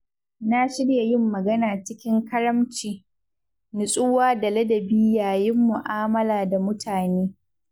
Na shirya yin magana cikin karamci, nutsuwa da ladabi yayin mu’amala da mutane.